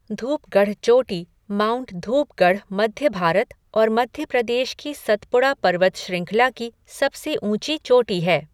धूपगढ़ चोटी माउंट धूपगढ़ मध्य भारत और मध्य प्रदेश की सतपुड़ा पर्वत श्रृंखला की सबसे ऊँची चोटी है।